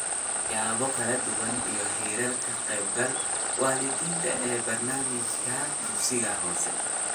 Siyaabo kala duwan iyo Heerarka Ka Qaybgalka Waalidiinta ee Barnaamijyada Dugsiga Hoose